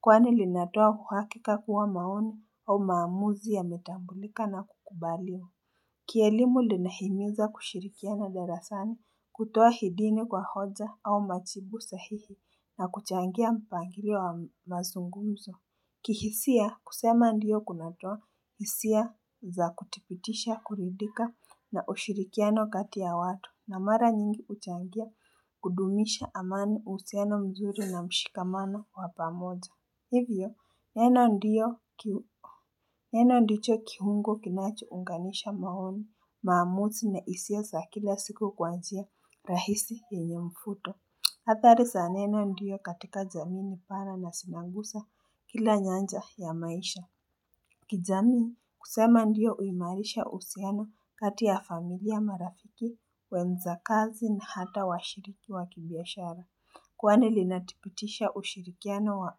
Kwani linatoa uhakika kuwa maoni au maamuzi ya metambulika na kukubalia Kielimu linahimiza kushirikiana darasani kutoa hidini kwa hoja au machibu sahihi na kuchangia mpangilio wa mazunguzo kihisia kusema ndiyo kunatua hisia za kutipitisha kuridika na ushirikiano kati ya watu na mara nyingi uchangia kudumisha amani useno mzuri na mshikamano wapamoja Hivyo neno ndiyo kiu Neno ndicho kihungo kinacho unganisha maoni maamuzi na hisia za kila siku kwaanjia rahisi yenye mfuto Hatha risaneno ndiyo katika zamini para na sinangusa kila nyanja ya maisha kijamii kusema ndiyo uimarisha usiana kati ya familia marafiki wenza kazi na hata washiriki wa kibiashara Kwani linatipitisha ushirikiano wa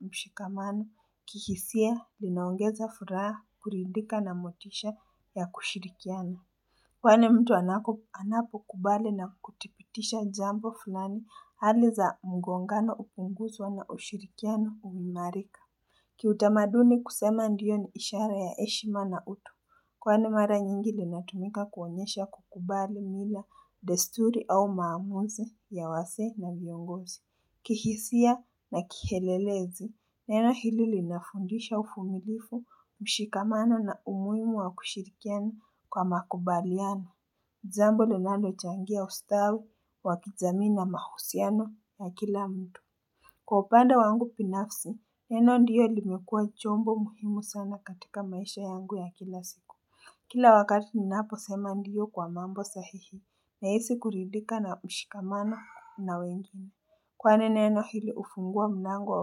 mshikamano kihisia linaongeza furaha kurindika na motisha ya kushirikiano. Kwani mtu anapo kubale na kutipitisha jambo fulani hali za mgongano upunguzwa na ushirikiano umimarika. Kiutamaduni kusema ndiyo ni ishara ya heshima na utu. Kwani mara nyingi linatumika kuonyesha kukubale mila desturi au maamuzi ya wase na viongozi. Kihisia na kihelelezi, neno hili linafundisha uvumilifu, mshikamano na umuhimu wa kushirikiana kwa makubaliano. Jambo ninanalo changia ustawi, wakijamii na mahusiano na kila mtu. Kwa upanda wangu binafsi, neno ndiyo limekua chombo muhimu sana katika maisha yangu ya kila siku. Kila wakati ninapo sema ndiyo kwa mambo sahihi, na hisi kuridika na mshikamano na wengine. Kwane neno hili ufungua mnango wa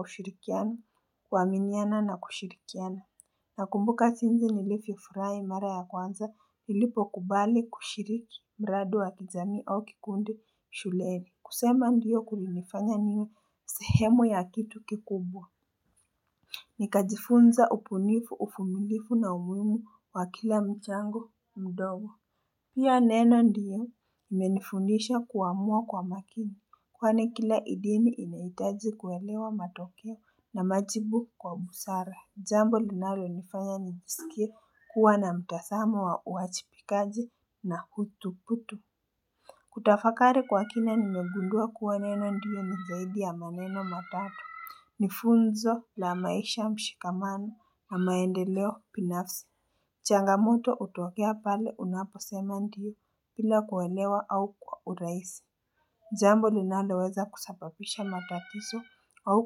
ushirikiano kwa kuamiana na kushirikiana Nakumbuka sinze nilifu furahi mara ya kwanza lilipo kubali kushiriki mradi wa kijami au kikundi shuleni kusema ndiyo kulinefanya niyo sehemu ya kitu kikubwa Nikajifunza ubunifu, ubunifu na umhimu kwa kila mchango mdogo Pia neno ndiye imenifundisha kuwaamua kwa makini Kwane kila idini inaitaji kuwelewa matokea na majibu kwa busara Jambo linalo nifanya nibisikia kuwa na mtasama wa uachipikaji na hutuputu Kutafakari kwa kina nimegundua kuwa neno ndiye nizaidi ya maneno matato nifunzo la maisha mshikamana na maendeleo binafsi changamoto utokea pale unaposema ndiyo bila kuwelewa au kwa uraisi jambo linaleweza kusapapisha matatiso au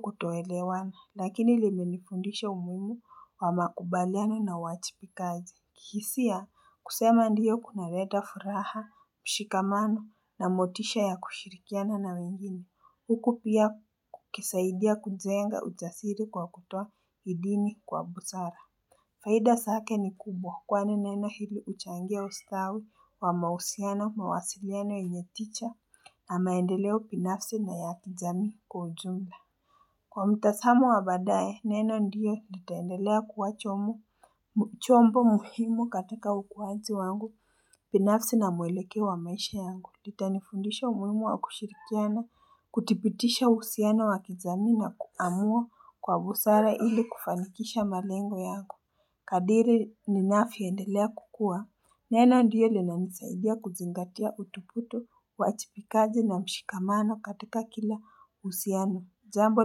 kutoelewana Lakini limenifundisha umuhmu wa makubaliana na wachipikaji kihisia kusema ndiyo kuna leta furaha, mshikamana na motisha ya kushirikiana na mingini Huku pia kukisaidia kujenga ujasiri kwa kutoa hidini kwa busara Faida zake ni kubwa kwane neno hili uchangia ustawi wa mahusiana mawasiliano inyeticha amaendeleo binafsi na ya kijamii kwa ujumla. Kwa mtasamo wa badaye neno ndiyo litandelea kuwa jombo muhimu katika ukuhanzi wangu binafsi na mweleke wa maisha yangu. Itanifundisha umhimu wa kushirikiana, kuthipitisha usiana wakizami na kuamua kwa busara hili kufanikisha malengo yangu. Kadiri ninafvyo endelea kukuwa neno ndiyo linanisaidia kuzingatia utuputo wachipikaji na mshikamano katika kila usiano jambo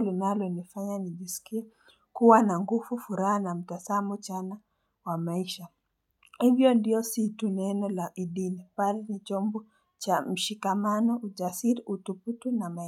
linalo nifanya nijisikia kuwa na nguvu furaha mtasamo chana wa maisha hivyo ndiyo situ neno la idini bali nichombo cha mshikamano ujasiri utuputo na maya.